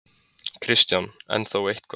Kristján: En þó eitthvað?